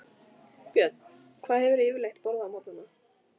Björn: Hvað hefurðu yfirleitt borðað á morgnanna?